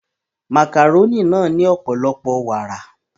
Màkàrónì náà ní ọ̀pọ̀lọpọ̀ wàrà